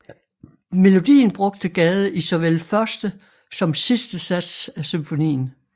Melodien brugte Gade i såvel første som sidste sats af symfonien